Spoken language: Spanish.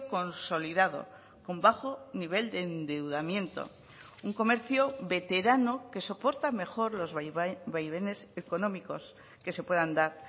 consolidado con bajo nivel de endeudamiento un comercio veterano que soporta mejor los vaivenes económicos que se puedan dar